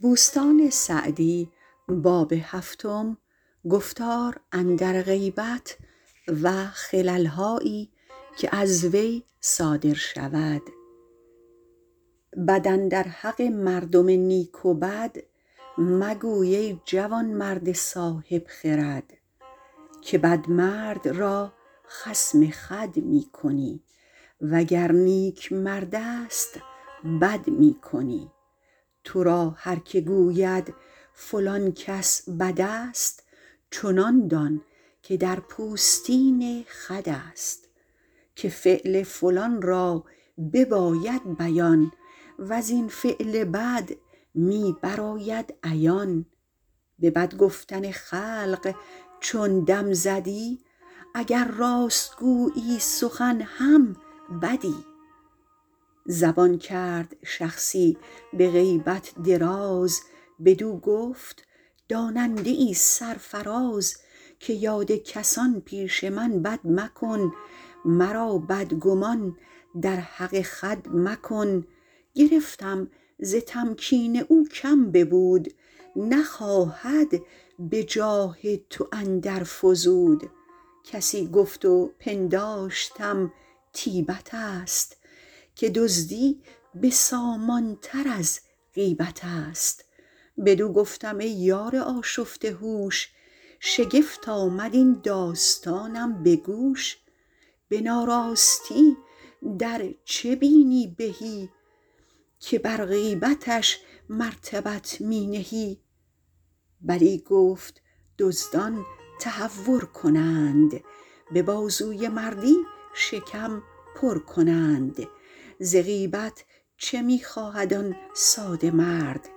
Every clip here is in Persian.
بد اندر حق مردم نیک و بد مگوی ای جوانمرد صاحب خرد که بد مرد را خصم خود می کنی وگر نیک مردست بد می کنی تو را هر که گوید فلان کس بد است چنان دان که در پوستین خود است که فعل فلان را بباید بیان وز این فعل بد می برآید عیان به بد گفتن خلق چون دم زدی اگر راست گویی سخن هم بدی زبان کرد شخصی به غیبت دراز بدو گفت داننده ای سرفراز که یاد کسان پیش من بد مکن مرا بدگمان در حق خود مکن گرفتم ز تمکین او کم ببود نخواهد به جاه تو اندر فزود کسی گفت و پنداشتم طیبت است که دزدی بسامان تر از غیبت است بدو گفتم ای یار آشفته هوش شگفت آمد این داستانم به گوش به ناراستی در چه بینی بهی که بر غیبتش مرتبت می نهی بلی گفت دزدان تهور کنند به بازوی مردی شکم پر کنند ز غیبت چه می خواهد آن ساده مرد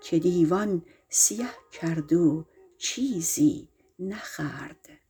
که دیوان سیه کرد و چیزی نخورد